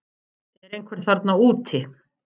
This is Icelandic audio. Er einhver þarna úti